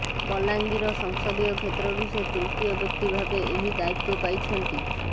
ବଲାଙ୍ଗୀର ସଂସଦୀୟ କ୍ଷେତ୍ରରୁ ସେ ତୃତୀୟ ବ୍ୟକ୍ତି ଭାବେ ଏହି ଦାୟିତ୍ବ ପାଇଛନ୍ତି